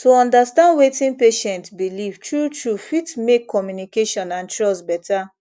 to understand wetin patient believe truetrue fit make communication and trust better